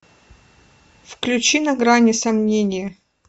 включи на грани сомнения